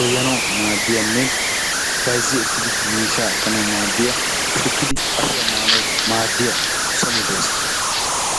goyyanawu maaddiyanne bayzzi ekkidi miishshaa ekkanawu maaddiya, shukkidi ashuwa maanawu maaddiya so medoosa.